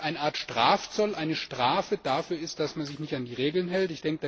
h, der wirklich eine Art Strafzoll, eine Strafe dafür ist, dass man sich nicht an die Regeln hält.